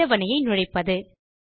அட்டவணையை நுழைப்பது